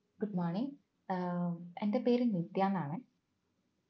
good morning ഏർ എന്റെ പേര് നിത്യനാണെ